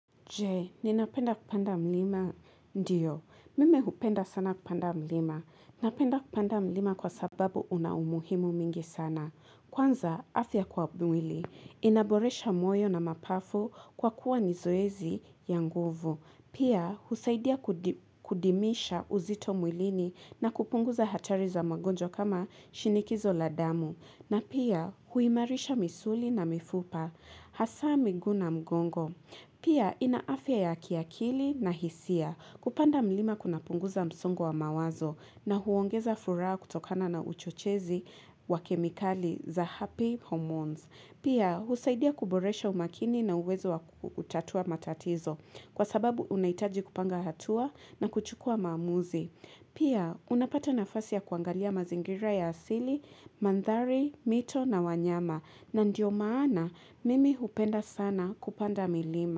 Je, ninapenda kupanda mlima ndiyo. Mimi hupenda sana kupanda mlima. Napenda kupanda mlima kwa sababu una umuhimu mingi sana. Kwanza, afya kwa mwili. Inaboresha moyo na mapafu kwa kuwa ni zoezi ya nguvu. Pia, husaidia kudimisha uzito mwilini na kupunguza hatari za magonjwa kama shinikizo la damu. Na pia huimarisha misuli na mifupa, hasa miguu na mgongo. Pia ina afya ya kiakili na hisia kupanda mlima kuna punguza msongo wa mawazo na huongeza furaa kutokana na uchochezi wa kemikali za happy hormones. Pia husaidia kuboresha umakini na uwezo wa kutatua matatizo kwa sababu unahitaji kupanga hatua na kuchukua maamuzi. Pia, unapata nafasi ya kuangalia mazingira ya asili, mandhari, mito na wanyama na ndio maana mimi hupenda sana kupanda milima.